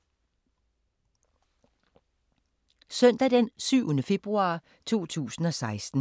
Søndag d. 7. februar 2016